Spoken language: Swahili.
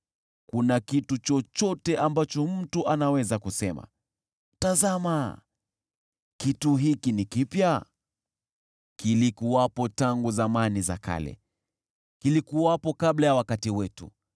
Kuna kitu chochote ambacho mtu anaweza kusema, “Tazama! Kitu hiki ni kipya”? Kilikuwepo tangu zamani za kale, kilikuwepo kabla ya wakati wetu.